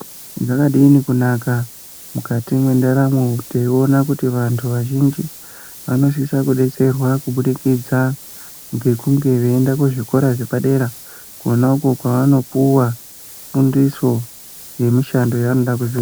Zvakadini kunaka mukati mwenderamo teiwona kuti vandu vazhinji vanosisa kubetserwa kubudikidza ngekunge veienda kuzvikora zvepadera konako kovanopuwa kundiso yemishando yevanoda kuzoita .